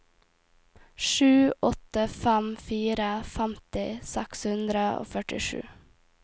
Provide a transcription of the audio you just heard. sju åtte fem fire femti seks hundre og førtisju